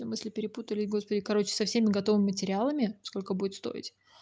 мысли перепутали о господи короче со всеми готовыми материалами сколько будет стоить